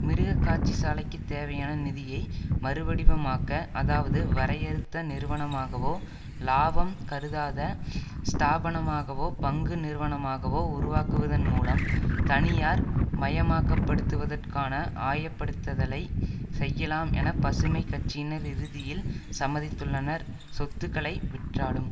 மிருக காட்சிசாலைக்கு தேவையான நிதியை மறுவடிவமாக்க அதாவது வரையறுத்த நிறுவனமாகவோ லாபம் கருதாத ஸ்தாபனமாகவோ பங்கு நிறுவனமாகவோ உருவாக்குவதன் மூலம் தனியார் மயமாக்கப்படுத்துவதற்கான ஆயப்படுத்தலை செய்யலாம் என பசுமை கட்சியினர் இறுதியில் சம்மதித்துள்ளனர் சொத்துக்களை விற்றாலும்